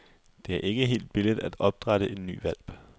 Det er ikke helt billigt at opdrætte en ny hvalp.